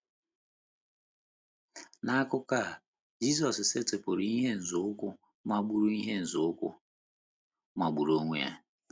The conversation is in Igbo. N’akụkụ a, Jizọs setịpụrụ ihe nzọụkwụ magburu ihe nzọụkwụ magburu onwe ya.